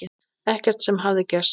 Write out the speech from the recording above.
Ekkert sem hafði gerst.